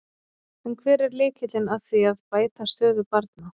En hver er lykillinn að því að bæta stöðu barna?